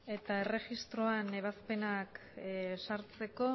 eta erregistroan ebazpenak sartzeko